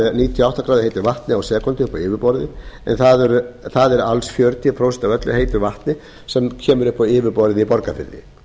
heitu vatni á sekúndu upp á yfirborðið en það er alls fjörutíu prósent af öllu heitu vatni sem kemur upp á yfirborðið í borgarfirði